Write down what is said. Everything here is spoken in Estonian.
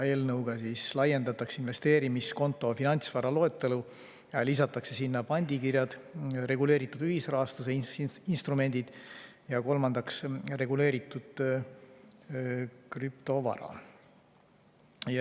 Eelnõuga laiendatakse investeerimiskonto finantsvara loetelu ja lisatakse sinna pandikirjad, reguleeritud ühisrahastuse instrumendid ja reguleeritud krüptovara.